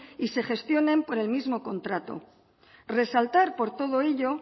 y se gestionen por el mismo contrato resaltar por todo ello